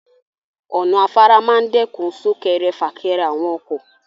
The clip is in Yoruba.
Ọ̀nà afárá máa ń dẹ́kun sún-kẹrẹ-fà-kẹrẹ àwọn ọkọ.